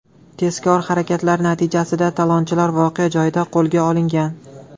Tezkor harakatlar natijasida talonchilar voqea joyida qo‘lga olingan.